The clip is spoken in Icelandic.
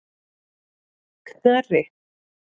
Knerri